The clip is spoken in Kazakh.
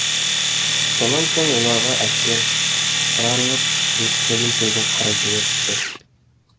сонан соң оларға әскер шығарылып жұмыскердің көбін қырып жіберіпті